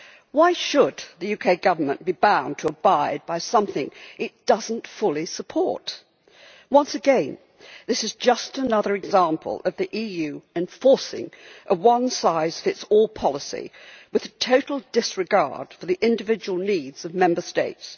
Why should the UK Government be bound to abide by something it does not fully support? Once again, this is just another example of the EU enforcing a one-size-fits-all policy with total disregard for the individual needs of Member States.